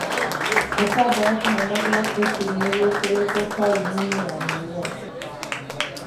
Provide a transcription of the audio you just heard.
Gĩtambaya kĩnene gĩa Putin nĩgĩkĩrĩtwo tauni-inĩ ya Newyork.